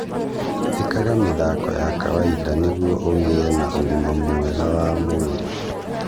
ĩkaga mĩthako ya kawaida nĩguo igĩe na ũgima mwega wa mwĩrĩ